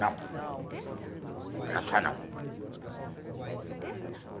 Não, vou dançar não.